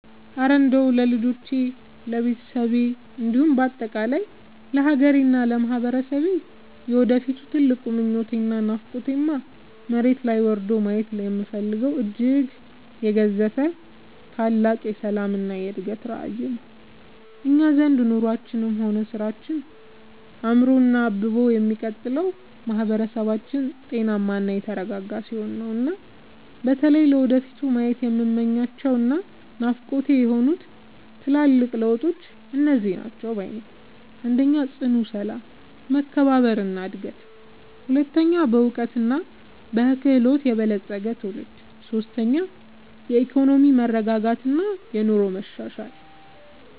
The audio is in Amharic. እረ እንደው ለልጆቼ፣ ለቤተሰቤ እንዲሁም በአጠቃላይ ለሀገሬና ለማህበረሰቤ የወደፊት ትልቁ ምኞቴና ናፍቆቴማ፣ መሬት ላይ ወርዶ ማየት የምፈልገው እጅግ የገዘፈ ታላቅ የሰላምና የእድገት ራዕይ ነው! እኛ ዘንድ ኑሯችንም ሆነ ስራችን አምሮና አብቦ የሚቀጥለው ማህበረሰባችን ጤናማና የተረጋጋ ሲሆን ነውና። በተለይ ለወደፊቱ ማየት የምመኛቸውና ናፍቆቴ የሆኑት ትልልቅ ለውጦች እነዚህ ናቸው ባይ ነኝ፦ 1. ጽኑ ሰላም፣ መከባበርና አንድነት 2. በዕውቀትና በክህሎት የበለፀገ ትውልድ 3. የኢኮኖሚ መረጋጋትና የኑሮ መሻሻል